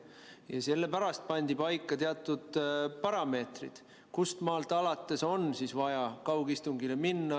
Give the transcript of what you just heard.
Ja sellepärast pandi paika teatud parameetrid, kust maalt alates on vaja kaugistungile minna.